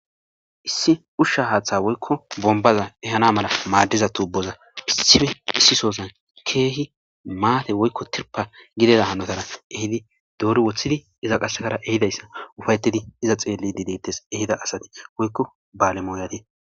Issi ushsha haaththa woykko bombaza ehana mala maaddiza tuuboza issife issi sozan keehi maate woykko tirpa gideda hanotara ehidi doori woththidi iza qassekara ehidayssa ufayetidi iza xeelli dideettes ehida asati woykko baalemoyadi